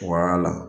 Wa la